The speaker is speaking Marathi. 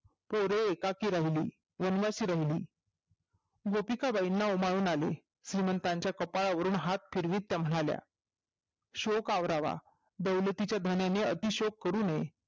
पोर एकाकी राहिली वनवाशी राहिली गोपिका बाईना उमाळून आले श्रीमंतांच्या कपाळावरून हात फिरवत म्हणाले शोक आवरावा दौलतीच्या भनेने अतिक्षेप करू नये